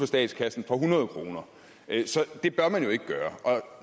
statskassen for hundrede kroner det bør man jo ikke gøre og